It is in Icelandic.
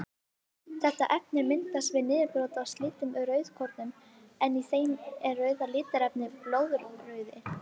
Þetta efni myndast við niðurbrot á slitnum rauðkornum en í þeim er rauða litarefnið blóðrauði.